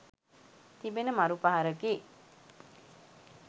තිබෙන මරු පහරකි.